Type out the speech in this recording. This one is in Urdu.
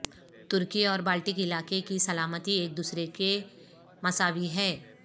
ترکی اور بالٹک علاقے کی سلامتی ایک دوسرے کے مساوی ہے